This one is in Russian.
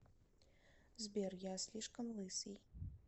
сбер я слишком лысый